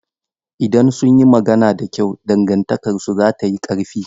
Idan sun yi magana da kyau, dangantakarsu za ta yi ƙarfi.